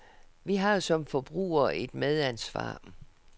Vi har som forbrugere et medansvar.